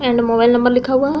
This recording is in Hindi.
एंड मोबाइल नंबर लिखा हुआ है।